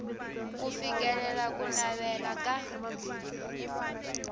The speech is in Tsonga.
ku fikelela ku navela ka